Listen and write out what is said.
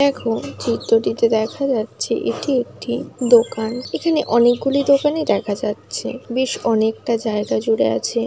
দেখ চিত্রটিতে দেখা যাচ্ছে এটি একটি দোকান এখানে অনেকগুলি দোকানিই দেখা যাচ্ছে বেশ অনেকটা জায়গা জুড়ে আছে।